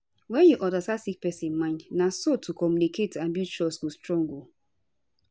wne u understand sick pesin mind na so to communicate and build trust go strong